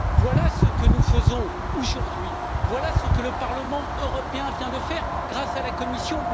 Voilà ce que nous faisons aujourd'hui, voilà ce que le Parlement européen vient de faire grâce à la Commission.